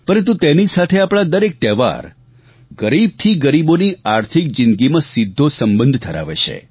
પરંતુ તેની સાથે આપણા દરેક તહેવાર ગરીબ થી ગરીબોની આર્થિક જિંદગીમાં સીધો સંબંધ ધરાવે છે